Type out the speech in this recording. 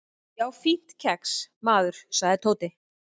"""Já, fínt kex, maður sagði Tóti."""